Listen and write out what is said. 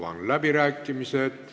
Avan läbirääkimised.